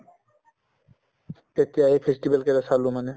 তেতিয়া এই festival কেইটা চালো মানে